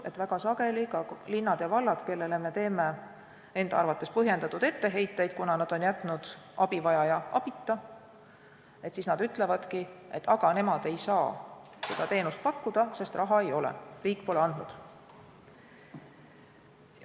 Väga sageli ütlevad ka linnad ja vallad, kellele me teeme enda arvates põhjendatud etteheiteid, kui nad on jätnud abivajaja abita, et aga nemad ei saa seda teenust pakkuda, sest raha ei ole, riik pole andnud.